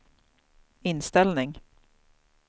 inställning